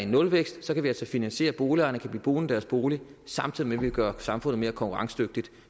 nulvækst kan vi altså finansiere at boligejerne bliver boende i deres bolig samtidig med at vi gør samfundet mere konkurrencedygtigt